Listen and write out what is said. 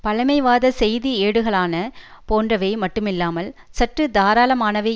பழைமைவாதச் செய்தி ஏடுகாளான போன்றவை மட்டுமில்லாமல் சற்று தாராளமானவை